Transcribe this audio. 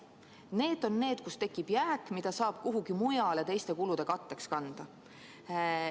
Need on need kohad, kus tekib jääk, mida saab kuhugi mujale teiste kulude katteks kanda.